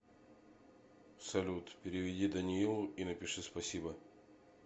салют переведи даниилу и напиши спасибо